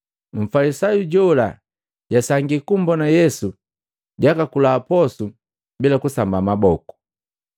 Mfalisayu jola jasangii kumbona Yesu jukula posu bila kusamba maboku.